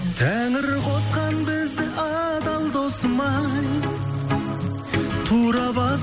тәңір қосқан бізді адал досым ай тура бас